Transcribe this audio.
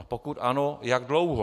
A pokud ano, jak dlouho?